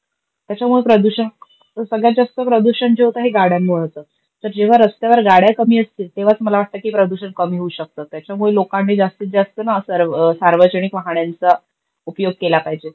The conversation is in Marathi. त्याच्यामुळे प्रदूषण सगळ्यात जास्त प्रदूषण जे होत हे गाड्यांमुळ होत. तर जेव्हा रस्त्यावर गाड्या कमी असतील तेव्हाच मला वाटत की प्रदूषण कमी होऊ शकत. त्याच्यामुळे लोकांनी जास्तीत जास्त ना सार्वजनिक वाह्ण्यांचा उपयोग केला पाहिजे.